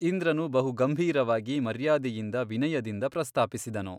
ಇಂದ್ರನು ಬಹುಗಂಭೀರವಾಗಿ ಮರ್ಯಾದೆಯಿಂದ ವಿನಯದಿಂದ ಪ್ರಸ್ತಾಪಿಸಿದನು.